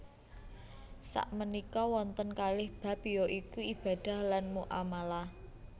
Sakmenika wonten kalih bab ya iku ibadah lan muamalah